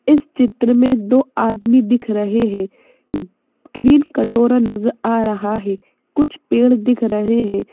इस चित्र में दो आदमी दिख रहे हैं ग्रीन कटोरा नजर आ रहा है कुछ पेड़ दिख रहे हैं।